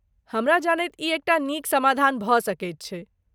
हमरा जनैत ई एकटा नीक समाधान भऽ सकैत छै।